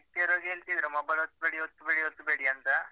Strict ಇರುವಾಗ ಹೇಳ್ತಿದ್ರು mobile ಒತ್ಬೇಡಿ ಒತ್ಬೇಡಿ ಒತ್ಬೇಡಿ ಅಂತ